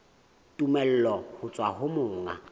tumello ho tswa ho monga